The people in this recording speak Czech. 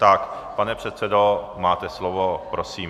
Tak pane předsedo, máte slovo, prosím.